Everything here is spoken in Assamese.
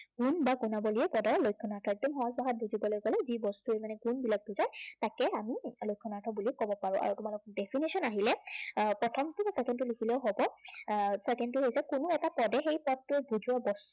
গুণ বা গুণাৱলীয়ে পদৰ লক্ষণাৰ্থ। একদম সহজ ভাষাত বুজিবলে গলে যি বস্তুৰ মানে গুণবিলাক বুজায় তাকে আমি লক্ষণাৰ্থ বুলি কব পাৰো। আৰু তোমালোকৰ definition আহিলে এৰ প্ৰথমটো বা প্ৰথমটো লিখিলেও হব। এৰ second টো হৈছে, কোনো এটা পদে সেই পদটো বুজোৱা